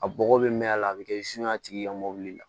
A bɔgɔ bɛ mɛn a la a bɛ kɛ a tigi ka mobili la